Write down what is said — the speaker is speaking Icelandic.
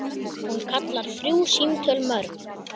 Hún kallar þrjú símtöl mörg.